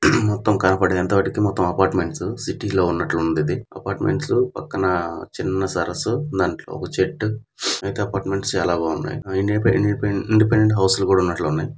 మొత్తం కనపడేది.అంతా వాటికి మొత్తం అపార్ట్మెంట్స్. సిటీ లో ఉన్నట్లుంది ఇది అపార్ట్మెంట్స్ .పక్కన చిన్న సరస్సు. దాంట్లో ఒక చెట్టు మిగతా అపార్ట్మెంట్ చాలా బాగున్నాయ్. ఇండిపెండెంట్ హౌస్ కూడా ఉన్నట్లు ఉన్నాయ్.